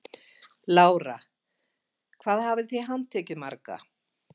Lára: Hvað hafið þið handtekið marga?